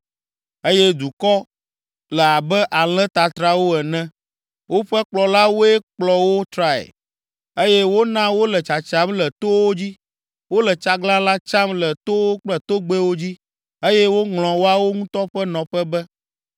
“Nye dukɔ le abe alẽ tatrawo ene, woƒe kplɔlawoe kplɔ wo trae eye wona wole tsatsam le towo dzi. Wole tsaglãla tsam le towo kple togbɛwo dzi eye woŋlɔ woawo ŋutɔ ƒe nɔƒe be.